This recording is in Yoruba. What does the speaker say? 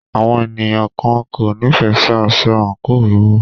Àwọn ènìyàn kan kò nífẹẹ sí aṣọ àńkò wíwọ̀.